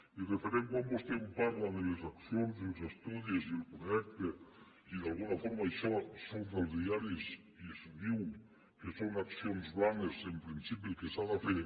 i referent a quan vostè em parla de les accions els estu·dis i el projecte i d’alguna forma això surt als diaris i es diu que són accions blanes en principi el que s’ha de fer